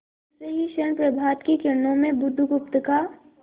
दूसरे ही क्षण प्रभात की किरणों में बुधगुप्त का